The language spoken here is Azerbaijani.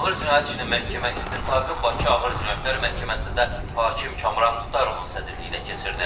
Ağır cinayət işinin məhkəmə istintaqı Bakı Ağır Cinayətlər Məhkəməsində hakim Kamran Muxtarovun sədrliyi ilə keçirilib.